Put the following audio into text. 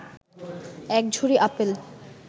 এক ঝুড়ি আপেল